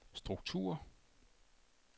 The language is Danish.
struktur